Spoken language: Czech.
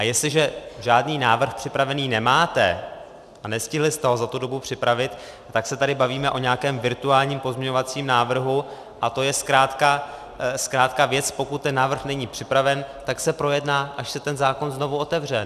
A jestliže žádný návrh připravený nemáte a nestihli jste ho za tu dobu připravit, tak se tady bavíme o nějakém virtuálním pozměňovacím návrhu a to je zkrátka věc - pokud ten návrh není připraven, tak se projedná, až se ten zákon znovu otevře.